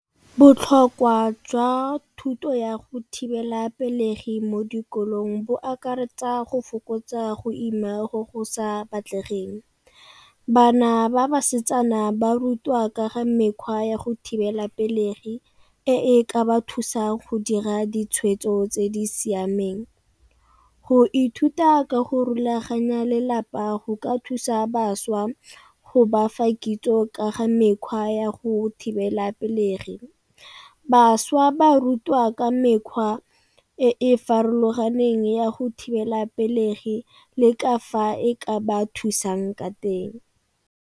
Botlhokwa jwa thuto ya go thibela pelegi mo dikolong bo akaretsa go fokotsa go ima go go sa batlegeng. Bana ba basetsana ba rutwa ka ga mekgwa ya go thibela pelegi e e ka ba thusang go dira ditshwetso tse di siameng. Go ithuta ka go rulaganya lelapa go ka thusa bašwa go bafa kitso ka ga mekgwa ya go thibela pelegi. Bašwa ba rutwa ka mekgwa e e farologaneng ya go thibela pelegi le ka fa e ka ba thusang ka teng.